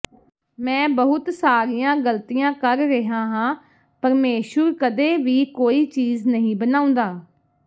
ਮੈਂ ਬਹੁਤ ਸਾਰੀਆਂ ਗਲਤੀਆਂ ਕਰ ਰਿਹਾ ਹਾਂ ਪਰਮੇਸ਼ੁਰ ਕਦੇ ਵੀ ਕੋਈ ਚੀਜ਼ ਨਹੀਂ ਬਣਾਉਂਦਾ